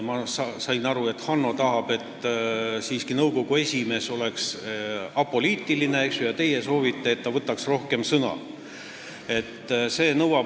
Ma saan aru, et Hanno tahab, et nõukogu esimees oleks siiski apoliitiline, ja teie soovite, et ta võtaks rohkem sõna.